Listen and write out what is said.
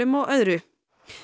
og öðru